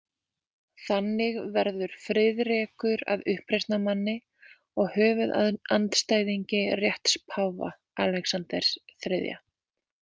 Þannig verður Friðrekur að uppreisnarmanni og höfuðandstæðingi rétts páfa, Alexanders þriðja.